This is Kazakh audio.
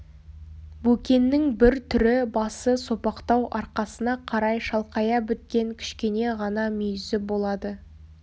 бөкеннің бір түрі басы сопақтау арқасына қарай шалқая біткен кішкене ғана мүйізі болады